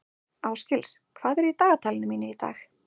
Ásgils, hvað er í dagatalinu mínu í dag?